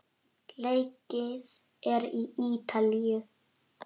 Leikið er í Ítalíu.